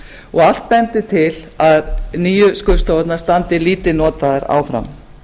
og allt bendir til að nýju skurðstofurnar standi lítið notaðar áfram